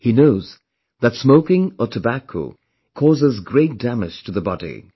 He knows that smoking or tobacco causes great damage to the body